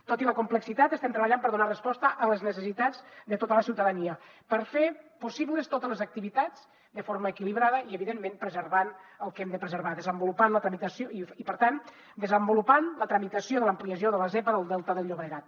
tot i la complexitat estem treballant per donar resposta a les necessitats de tota la ciutadania per fer possibles totes les activitats de forma equilibrada i evidentment preservant el que hem de preservar desenvolupant la tramitació i per tant desenvolupant la tramitació de l’ampliació de la zepa del delta del llobregat